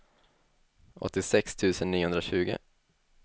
åttiosex tusen niohundratjugo